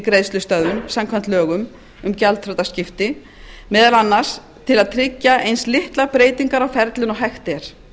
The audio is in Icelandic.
greiðslustöðvun samkvæmt lögum um gjaldþrotaskipti meðal annars til að tryggja eins litlar breytingar á ferlinu og hægt er